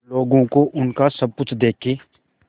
लोगों को उनका सब कुछ देके